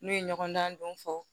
N'u ye ɲɔgɔndan don fɔ